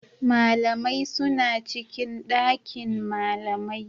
Malamai suna cikin ɗakin malamai